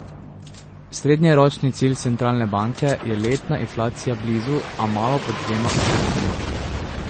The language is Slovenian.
Srednjeročni cilj centralne banke je letna inflacija blizu, a malo pod dvema odstotkoma.